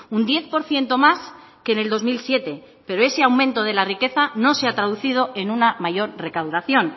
un diez por ciento más que en el dos mil siete pero ese aumento de la riqueza no se ha traducido en una mayor recaudación